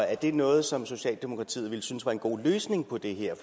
er det noget som socialdemokratiet ville synes var en god løsning på det her